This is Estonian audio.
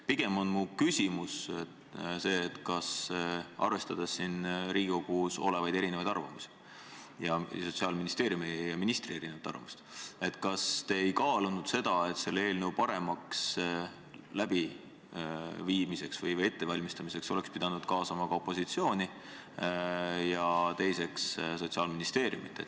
Pigem on mu küsimus see, et arvestades siin Riigikogus olevaid erinevaid arvamusi ning Sotsiaalministeeriumi ja ministri erinevat arvamust, siis kas te ei kaalunud seda, et eelnõu paremaks ettevalmistamiseks oleks töörühma pidanud kaasama ka opositsiooni ja Sotsiaalministeeriumi.